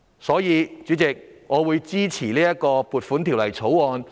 所以，主席，我支持盡快通過《2020年撥款條例草案》。